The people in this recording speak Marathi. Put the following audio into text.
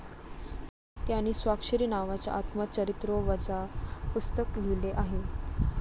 त्यांनी स्वाक्षरी नावाचे आत्मचरित्रवजा पुस्तक लिहिले आहे.